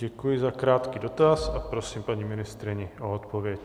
Děkuji za krátký dotaz a prosím paní ministryni o odpověď.